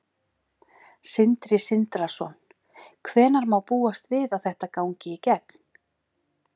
Sindri Sindrason: Hvenær má búast við að þetta gangi í gegn?